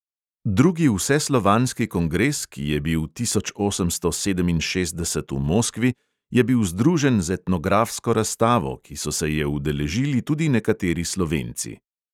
Drugi vseslovanski kongres, ki je bil tisoč osemsto sedeminšestdeset v moskvi, je bil združen z etnografsko razstavo, ki so se je udeležili tudi nekateri slovenci.